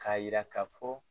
K'a jira k'a fɔ